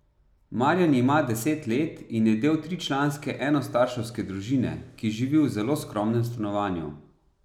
Marjan ima deset let in je del tričlanske enostarševske družine, ki živi v zelo skromnem stanovanju.